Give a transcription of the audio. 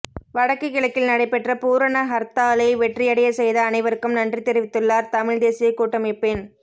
வடக்கு கிழக்கில் நடைபெற்ற பூரண ஹர்த்தாலை வெற்றியடையச் செய்த அனைவருக்கும் நன்றி தெரிவித்துள்ளார் தமிழ்த் தேசியக் கூட்டமைப்பின்